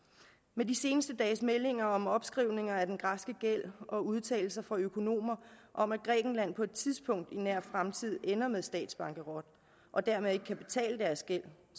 med de seneste dages meldinger om opskrivninger af den græske gæld og udtalelser fra økonomer om at grækenland på et tidspunkt i nær fremtid ender med statsbankerot og dermed ikke kan betale deres gæld